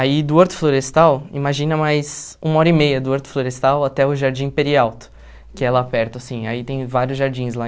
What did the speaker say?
Aí do Horto Florestal, imagina mais uma hora e meia do Horto Florestal até o Jardim Peri Alto, que é lá perto, assim, aí tem vários jardins lá.